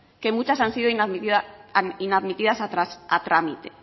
que muchas han sido inadmitidas a trámite